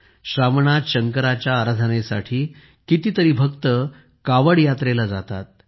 श्रावणात शंकराच्या आराधनेसाठी कितीतरी भक्त कावड यात्रेला जातात